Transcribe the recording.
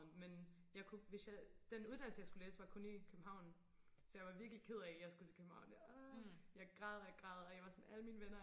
men jeg kunne hvis jeg den uddannelse jeg skulle læse var kun i København så jeg var virkelig ked af at jeg skulle til København jeg græd og græd og jeg var sådan alle mine venner